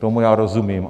Tomu já rozumím.